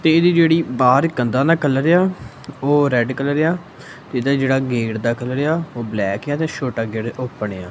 ਤੇ ਇਹਦੀ ਜਿਹੜੀ ਬਾਹਰ ਕੰਧਾਂ ਦਾ ਕਲਰ ਆ ਓਹ ਰੈੱਡ ਕਲਰ ਆ ਇਹਦਾ ਜਿਹੜਾ ਗੇਟ ਦਾ ਕਲਰ ਆ ਓਹ ਬਲੈਕ ਆ ਤੇ ਛੋਟਾ ਗੇਟ ਓਪਣ ਆ।